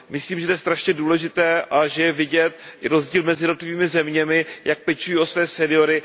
Myslím, že to je strašně důležité a že je vidět rozdíl mezi jednotlivými zeměmi, jak pečují o své seniory.